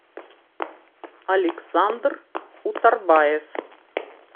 александр утарбаев